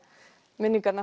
minningarnar